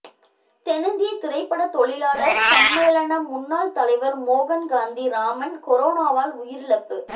தென்னிந்திய திரைப்பட தொழிலாளர் சம்மேளன முன்னாள் தலைவர் மோகன்காந்தி ராமன் கொரோனாவால் உயிரிழப்பு